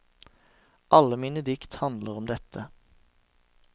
Alle mine dikt handler om dette.